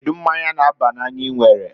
Kedu mmanya n'aba n'anya I nwere?